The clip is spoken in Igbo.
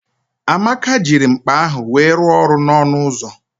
Amaka jiri mkpa ahụ wee rụọ ọrụ n'ọnụ ụzọ